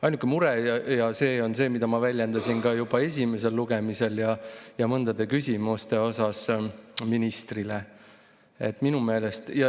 Ainuke mure on see, mida ma väljendasin juba esimesel lugemisel ja mõnes küsimuses ministrile.